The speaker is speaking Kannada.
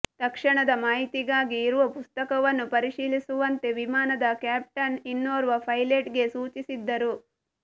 ತಕ್ಷಣದ ಮಾಹಿತಿಗಾಗಿ ಇರುವ ಪುಸ್ತಕವನ್ನು ಪರಿಶೀಲಿಸುವಂತೆ ವಿಮಾನದ ಕ್ಯಾಪ್ಟನ್ ಇನ್ನೋರ್ವ ಪೈಲಟ್ಗೆ ಸೂಚಿಸಿದ್ದರು